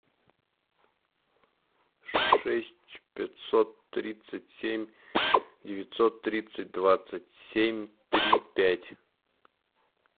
шесть пятьсот тридцать семь девятьсот тридцать двадцать семь три пять